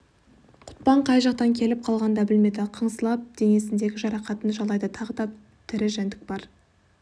құтпан қай жақтан келіп қалғанын да білмеді қыңсылап денесіндегі жарақатын жалайды тағы бір тірі жәндік бар